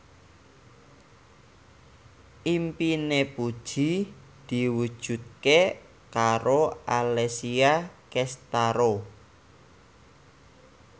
impine Puji diwujudke karo Alessia Cestaro